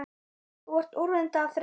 Þú ert úrvinda af þreytu